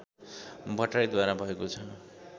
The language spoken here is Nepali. भट्टराईद्वारा भएको छ